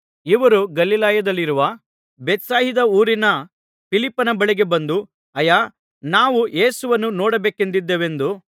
ಇವರು ಗಲಿಲಾಯದಲ್ಲಿರುವ ಬೇತ್ಸಾಯಿದ ಊರಿನ ಫಿಲಿಪ್ಪನ ಬಳಿಗೆ ಬಂದು ಅಯ್ಯಾ ನಾವು ಯೇಸುವನ್ನು ನೋಡಬೇಕೆಂದಿದ್ದೇವೆಂದು ಅವನನ್ನು ಬೇಡಿಕೊಂಡರು